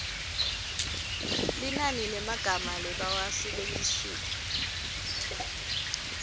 linani lemagama labawasebentisile